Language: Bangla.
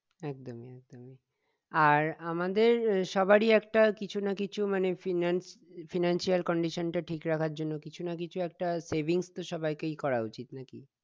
একদম আর আমাদের সবারই একটা কিছু না কিছু মানে financial condition টা ঠিক রাখার জন্য কিছু না কিছু একটা savings তো সবাইকেই করা উচিত